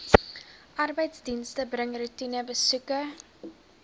arbeidsdienste bring roetinebesoeke